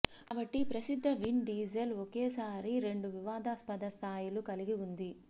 కాబట్టి ప్రసిద్ధ Vin Diesel ఒకేసారి రెండు వివాదస్పద స్థాయిలు కలిగి ఉంది